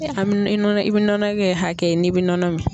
A bi nɔnɔ i bi nɔnɔ kɛ hakɛ ye n'i bi nɔnɔ min.